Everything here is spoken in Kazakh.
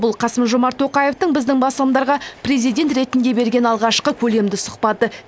бұл қасым жомарт тоқаевтың біздің басылымдарға президент ретінде берген алғашқы көлемді сұхбаты